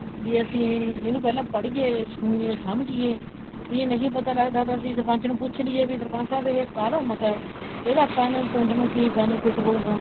ਵੀ ਅਸੀਂ ਇਹਨੂੰ ਪਹਿਲਾਂ ਪੜੀਏ ਸੁਣੀਏ ਸਮਝੀਏ ਵੀ ਇਹ ਨਹੀਂ ਪਤਾ ਲੱਗਦਾ ਤਾਂ ਅਸੀਂ ਸਰਪੰਚ ਨੂੰ ਪੁੱਛ ਲਈਏ ਸਰਪੰਚ ਸਾਹਿਬ ਇਹ ਕਾਹਦਾ ਮਤਾ ਹੈ ਇਹਦਾ ਆਪਾਂ ਨੂੰ ਪਿੰਡ ਨੂੰ ਕੀ benefit ਹੋਉਗਾ